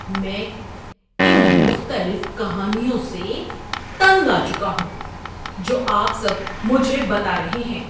میں ان مختلف کہانیوں سے تنگ آ چکا ہوں جو آپ سب مجھے بتا رہے ہیں۔